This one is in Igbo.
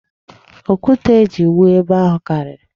Okwute e ji wụọ ebe ahụ karịrị.